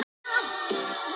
Því hér er ég enn.